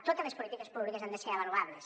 totes les polítiques públiques han de ser avaluables